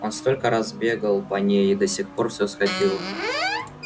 он столько раз бегал по ней и до сих пор всё сходило